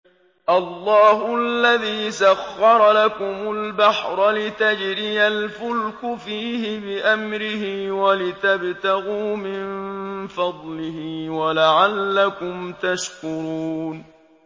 ۞ اللَّهُ الَّذِي سَخَّرَ لَكُمُ الْبَحْرَ لِتَجْرِيَ الْفُلْكُ فِيهِ بِأَمْرِهِ وَلِتَبْتَغُوا مِن فَضْلِهِ وَلَعَلَّكُمْ تَشْكُرُونَ